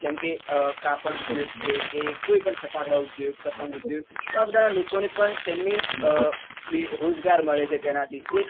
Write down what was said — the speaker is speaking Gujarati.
જેમ કે અ કાપડ ઉદ્યોગ છે કે કોઈ પણ ફટાકડા ઉદ્યોગ પતંગ ઉદ્યોગ તો આ બધા લોકો ને પણ તેમની અ રોજગાર મળે છે તેના થી તે